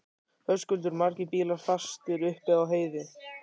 Höskuldur: Margir bílar fastir upp á heiði?